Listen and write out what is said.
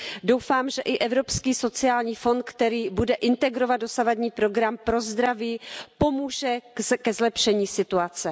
Doufám, že i Evropský sociální fond, který bude integrovat dosavadní program pro zdraví, pomůže ke zlepšení situace.